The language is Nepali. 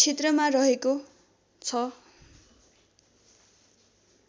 क्षेत्रमा रहेको छ